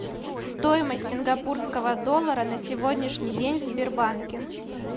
стоимость сингапурского доллара на сегодняшний день в сбербанке